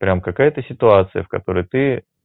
прямо какая-то ситуация в которой ты